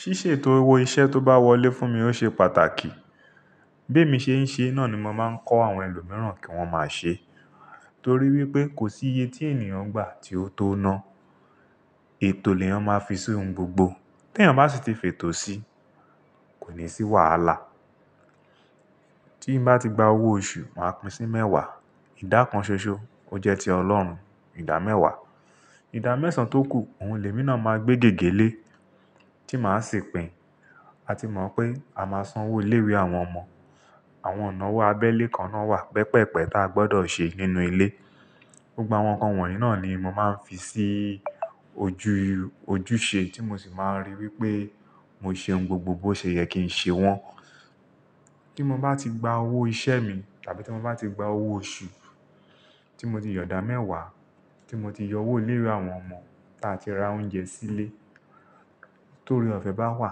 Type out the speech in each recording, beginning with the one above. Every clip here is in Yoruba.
Ṣíṣètò owó iṣẹ́ tó bá wọlé fún mi ó ṣe pàtàkì. Bí èmi ṣe ń ṣe náà ni mo máa ń kọ́ àwọn ẹlòmíràn kí wọ́n máa ṣe. Torí wípé kò sí iye tí ènìyàn gbà tí ó tó ná. Ètò ni èèyàn máa fi sí ohun gbogbo. Tí èèyàn bá sì ti fètò sí, kò ní sí wàhálà. Tí m bá ti gba owó oṣù, màá pín sí mẹ́wàá. Ìdá kan ṣoṣo, ó jẹ́ ti Ọlọ́run. Ìdá mẹ́wàá. Ìdá mẹ́sàn tó kù, òun lèmi náà máa gbé gẹ́gẹ́ lé tí màá sì pín. A ti mọ̀ pé a máa san owó ilé ìwé àwọn ọmọ. Àwọn ìnáwó abẹ́lé kan náà wà pẹpẹ́pẹ tá a gbọdọ̀ ṣe nínú ilé. Gba àwọn nǹkan wọ̀nyí náà ni mo máa ń fi sí ojú ojúṣe tí mo sì máa ń rí i wípé mo ṣe ohun gbogbo bó ṣe yẹ kí ń ṣe wọ́n. Kí mo bá ti gba owó ìṣe mi tàbí tí mo bá ti gba owó oṣù, tí mo ti yọ ìdá mẹ́wàá, tí mo ti yọ owó ilé ìwé àwọn ọmọ táa ti ra oúnjẹ sílé. Tóore ọ̀fẹ́ bá wà,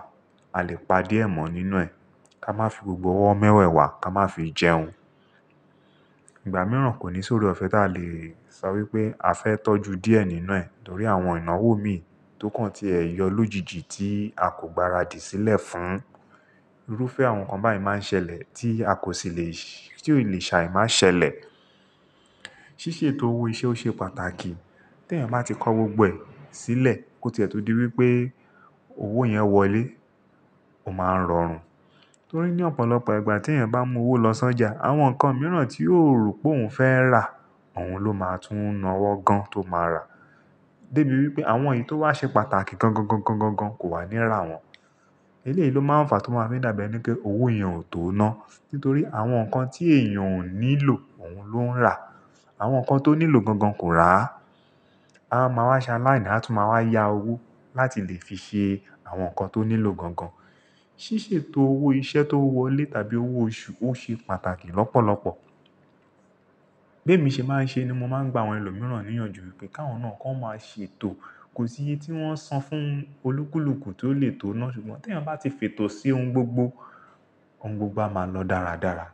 a lè pa díẹ̀ mọ́ nínú ẹ̀. Ká má fi gbogbo owó mẹ́wẹ̀wà ká má fi jẹun. Ìgbà mìíràn kò ní sóre ọ̀fẹ́ táa lè sọ wípé a fẹ́ tọ́jú díẹ̀ nínú ẹ̀ torí àwọn ìnáwó mi tó kàn tí ẹ yọ lójijì tí a kò gbaradì sílẹ̀ fún. Irúfẹ́ àwọn nǹkan báyìí máa ń ṣẹlẹ̀ tí a kò sì le, tí ò le ṣa i máa ṣẹlẹ̀. Ṣíṣètò owó iṣẹ́ ó ṣe pàtàkì. Tí èèyàn bá ti kọ́ gbogbo ẹ̀ sílẹ̀, kó tiẹ̀ tó di wípé owó yẹn wọlé, ó máa ń rọrùn. Torí ní ọ̀pọ̀lọpọ̀ ìgbà tí èèyàn bá mú owó lọ sọ́jà, àwọn nǹkan mìíràn tí ó rò pé òun fẹ́ rà, òun ló máa tún ná ọwọ́ gan tó máa rà. Débi wípé àwọn èyí tó wá ṣe pàtàkì gan gan gan gan gan kò wà níra wọn. Eléyìí ló máa ń fa tó máa ń fi dàbí ẹní pé owó yẹn ò tó ná. Nítorí àwọn nǹkan tí èèyàn ò nílò, òun ló ń rà. Àwọn nǹkan tó nílò gan gan kò rà á. A máa máa ṣa láìná, a tún máa wá yá owó láti lè fi ṣe àwọn nǹkan tó nílò gan gan. Ṣíṣètò owó iṣẹ́ tó wọlé tàbí owó oṣù ó ṣe pàtàkì lọ́pọ̀lọpọ̀. Bí èmi ṣe máa ń ṣe ni mo máa ń gba àwọn ẹlòmíràn ní ìyànjú wípé káwọn náà kan máa ṣètò. Kò sí iye tí wọ́n san fún olúkúlùkù tí ó lè tó ná ṣùgbọ́n tí èèyàn bá ti fètò sí ohun gbogbo, ohun gbogbo á máa lọ dáradára.